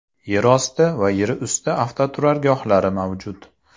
Yerosti va yerusti avtoturargohlari mavjud.